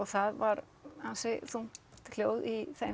það var ansi þungt hljóð í þeim